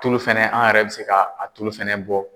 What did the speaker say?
Tulu fɛnɛ an yɛrɛ bɛ se ka a tulu fɛnɛ bɔ.